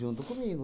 Junto comigo.